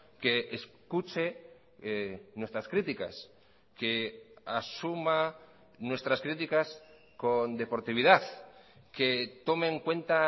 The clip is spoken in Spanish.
que escuche nuestras críticas que asuma nuestras críticas con deportividad que tome en cuenta